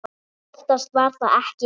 Oftast var það ekki hægt.